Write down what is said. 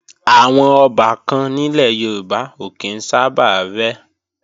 Àwọn ọbàkan nílẹ̀ Yorùbá ò kí ń sábà rẹ́